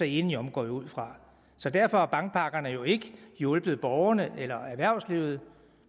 enige om går jeg ud fra så derfor har bankpakkerne jo ikke hjulpet borgerne eller erhvervslivet